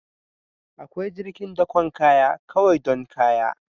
Akwai jirgin dakon kaya kawai don kaya